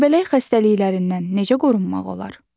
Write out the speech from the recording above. Göbələk xəstəliklərindən necə qorunmaq olar?